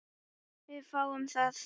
Við fáum þá